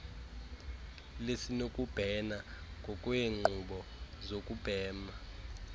lisenokubhena ngokweenkqubo zokubhena